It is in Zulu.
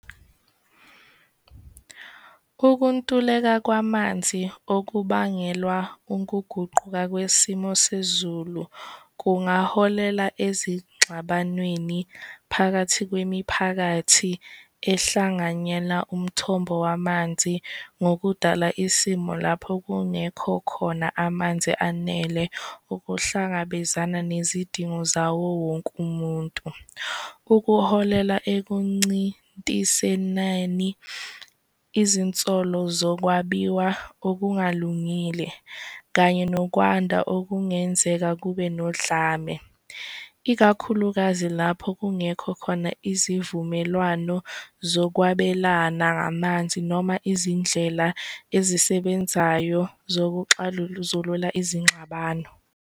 Ukuntuleka kwamanzi okubangelwa unkuguquka kwesimo sezulu kungaholela ezingxabanweni phakathi kwemiphakathi ehlanganyela umthombo wamanzi ngokudala isimo lapho kungekho khona amanzi anele ukuhlangabezana nezidingo zawo wonke umuntu. Ukuholela ekuncintiseneni, izinsolo zokwabiwa okungalungile, kanye nokwanda okungenzeka kube nodlame, ikakhulukazi lapho kungekho khona izivumelwano zokwabelana ngamanzi noma izindlela ezisebenzayo zokuxazulula izingxabano.